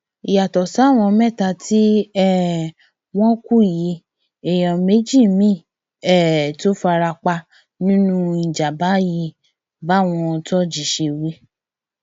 yàtọ sáwọn mẹta tí um wọn kú yìí èèyàn méjì míì um tún fara pa nínú ìjàmàbá yìí báwọn ṣe wí